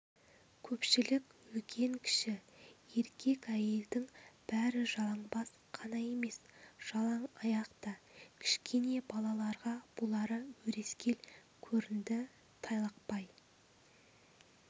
көпшілік үлкен-кіші еркек-әйелдің бәрі жалаңбас қана емес жалаң аяқ та кішкене балаларға бұлары өрескел көрінді тайлақпай